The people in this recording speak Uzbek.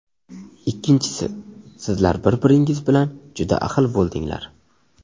Ikkinchisi: sizlar bir-birlaringiz bilan juda ahil bo‘ldinglar.